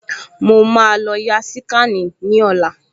Mo máa lọ ya síkànì ní ọ̀la